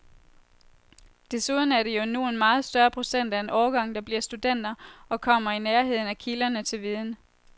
Desuden er det jo nu en meget større procent af en årgang, der bliver studenter og kommer i nærheden af kilderne til viden.